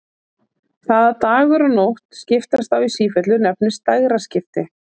Það að dagur og nótt skiptast á í sífellu nefnist dægraskipti.